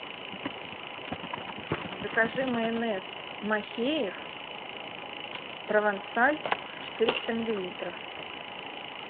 закажи майонез махеев провансаль четыреста миллилитров